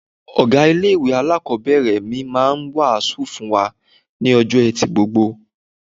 Ọ̀gá ilé-ìwé alákọ̀ọ́bẹ̀rẹ̀ mi máa ń wàásù fún wa ní ọjọ́ Ẹtì gbogbo.